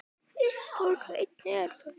Uppúr einni herför